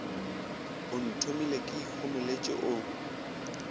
o nthomile ke ikhomoletše o